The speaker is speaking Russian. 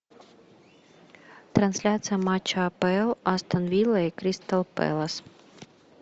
трансляция матча апл астон вилла и кристал пэлас